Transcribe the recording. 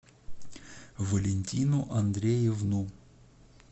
валентину андреевну